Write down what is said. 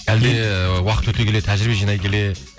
әлде уақыт өте келе тәжірибе жинай келе